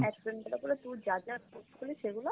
add friend করে তোর যা যা post গুলো সেগুলো,